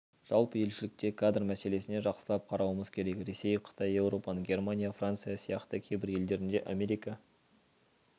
жалпы елшілікте кадр мәселесіне жақсылап қарауымыз керек ресей қытай еуропаның германия франция сияқты кейбір елдерінде америка